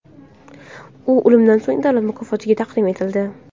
U o‘limidan so‘ng davlat mukofotiga taqdim etildi.